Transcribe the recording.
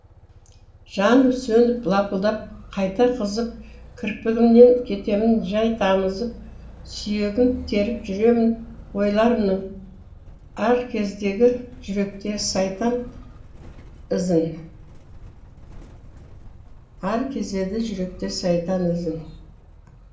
жанып сөніп лапылдап қайта қызып кірпігімнен кетемін жай тамызып сүйегін теріп жүремін ойларымның ар кезеді жүректе сайтан ізін ар кезеді жүректе сайтан ізін